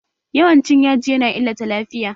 Yawan cin yaji ya na illata lafiya